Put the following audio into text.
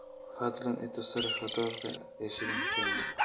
fadlan i tus sarifka doolarka iyo shilinka kenya